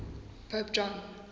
pope john